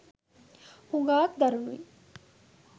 හුඟාක් දරුණුයි